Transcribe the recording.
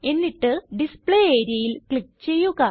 എന്നിട്ട് ഡിസ്പ്ലേ areaയിൽ ക്ലിക്ക് ചെയ്യുക